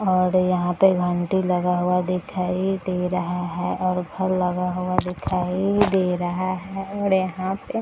और यहाँ पे घंटी लगा हुआ दिखाई दे रहा है और घर लगा हुआ दिखाई दे रहा है और यहाँ पे --